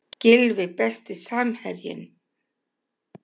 Gylfi Besti samherjinn?